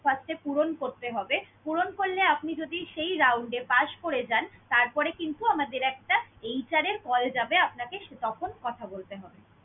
first এ পূরণ করতে হবে। পূরণ করলে আপনি যদি সেই round এ pass করে যান, তারপরে কিন্তু আমাদের একটা HR এর call যাবে আপনাকে তখন কথা বলবেন।